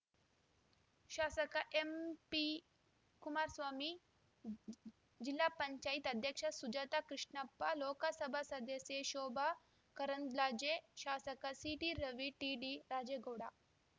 ಶಾಸಕ ಎಂಪಿ ಕುಮಾರಸ್ವಾಮಿ ಜ್ ಜಿಲ್ಲಾ ಪಂಚಾಯತ್ ಅಧ್ಯಕ್ಷೆ ಸುಜಾತ ಕೃಷ್ಣಪ್ಪ ಲೋಕಸಭಾ ಸದಸ್ಯೆ ಶೋಭಾ ಕರಂದ್ಲಾಜೆ ಶಾಸಕ ಸಿಟಿ ರವಿ ಟಿಡಿ ರಾಜೇಗೌಡ